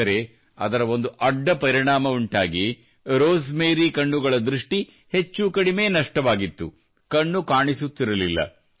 ಆದರೆ ಅದರ ಒಂದು ಅಡ್ಡಪರಿಣಾಮ ಉಂಟಾಗಿ ರೋಸ್ ಮೇರಿಯ ಕಣ್ಣುಗಳ ದೃಷ್ಟಿ ಹೆಚ್ಚುಕಡಿಮೆ ನಷ್ಟವಾಗಿತ್ತು ಕಣ್ಣು ಕಾಣಿಸುತ್ತಿರಲಿಲ್ಲ